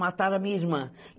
Mataram a minha irmã.